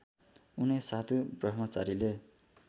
उनै साधु ब्रह्मचारीले